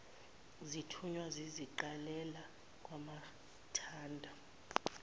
zithunywa ziziqalela kwamathanda